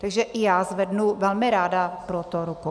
Takže i já zvednu velmi ráda pro to ruku.